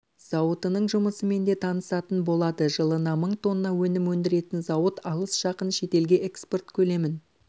зауытының жұмысымен де танысатын болады жылына мың тонна өнім өндіретін зауыт алыс-жақын шетелге экспорт көлемін